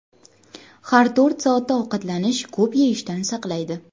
Har to‘rt soatda ovqatlanish ko‘p yeyishdan saqlaydi.